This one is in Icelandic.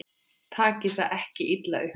Takið það ekki illa upp.